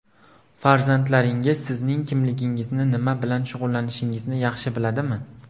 Farzandlaringiz sizning kimligingizni, nima bilan shug‘ullanishingizni yaxshi biladimi?